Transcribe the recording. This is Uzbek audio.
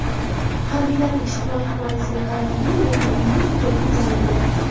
Harbiylarning ijtimoiy himoyasiga qaratilgan yangi qonun hujjati imzolandi.